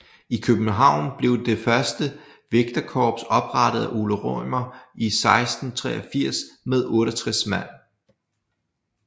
I København blev det første vægterkorps oprettet af Ole Rømer i 1683 med 68 mand